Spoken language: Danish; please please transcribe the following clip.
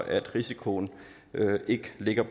at risikoen ikke ligger